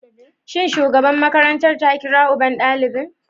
Shin shugaban makarantar ta kira uban ɗalibin?